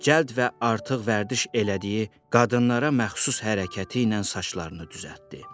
Cəld və artıq vərdiş elədiyi qadınlara məxsus hərəkəti ilə saçlarını düzəltdi.